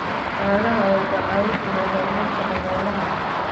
Caanaha ayaa ka caawin kara horumarka dhaqaalaha.